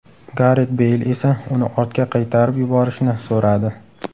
Garet Beyl esa uni ortga qaytarib yuborishni so‘radi.